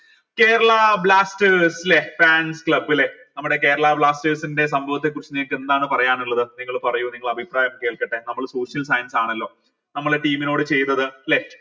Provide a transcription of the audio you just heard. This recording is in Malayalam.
കേരള ബ്ലാസ്റ്റേഴ്സ് ലെ fans club ലെ നമ്മടെ കേരള ബ്ലാസ്റ്റേഴ്സ്ൻ്റെ സംഭവത്തെക്കുറിച്ച് നിങ്ങൾക്ക് എന്താണ് പറയാനുള്ളത് നിങ്ങൾ പറയൂ നിങ്ങള അഭിപ്രായം കേൾക്കട്ടെ നമ്മൾ social science ആണല്ലോ നമ്മളെ team നോട് ചെയ്തത് ല്ലെ